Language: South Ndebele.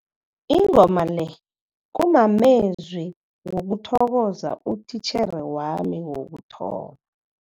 Ingoma le kumamezwi wokuthokoza utitjhere wami wokuthoma.